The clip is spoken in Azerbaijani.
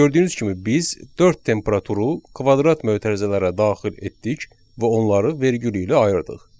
Gördüyünüz kimi biz dörd temperaturu kvadrat mötərizələrə daxil etdik və onları vergül ilə ayırdıq.